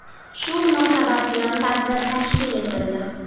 Shu munosabat bilan tadbir tashkil etildi.